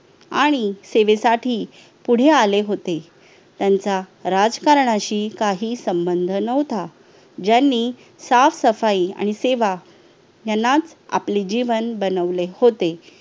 आणि सेवेसाठी पुढे आले होते त्यांचा राजकारणाशी काही संबंध नव्हता ज्यांनी साफसफाई आणि सेवा यांना आपले जीवन बनवले होते